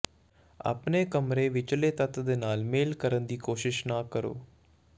ਆਪਣੇ ਕਮਰੇ ਵਿਚਲੇ ਤੱਤ ਦੇ ਨਾਲ ਮੇਲ ਕਰਨ ਦੀ ਕੋਸ਼ਿਸ਼ ਨਾ ਕਰੋ